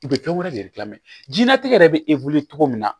U bɛ fɛn wɛrɛ de kilan mɛ jiyɛnnatigɛ yɛrɛ bɛ cogo min na